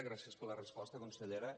gràcies per la resposta consellera